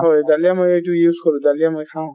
দালিয়া মইয়ো এইটো use কৰো, দালিয়া মই খাওঁ |